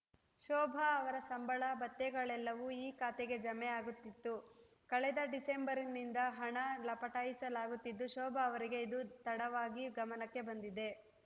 ಶೋಭಾ ಅವರ ಸಂಬಳ ಭತ್ಯೆಗಳೆಲ್ಲವೂ ಈ ಖಾತೆಗೆ ಜಮೆ ಆಗುತ್ತಿತ್ತು ಕಳೆದ ಡಿಸೆಂಬರ್‌ನಿಂದ ಹಣ ಲಪಟಾಯಿಸಲಾಗುತ್ತಿದ್ದು ಶೋಭಾ ಅವರಿಗೆ ಇದು ತಡವಾಗಿ ಗಮನಕ್ಕೆ ಬಂದಿದೆ